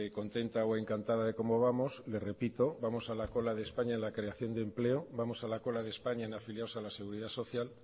contenta o encantada de cómo vamos le repito vamos a la cola de españa en la creación de empleo vamos a la cola de españa en afiliados a la seguridad social